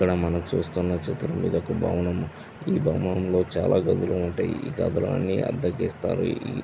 ఇక్కడ మనం చూస్తున చిత్రం మీద ఒక భవనం. ఈ భవనం లో చాల గదులు ఉంటాయి. ఈ గదులని అద్దెకి ఇస్తారు. ఈ --